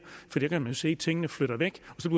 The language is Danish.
for der kan man se at tingene flytter væk og så